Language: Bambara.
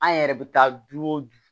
An yɛrɛ bɛ taa du wo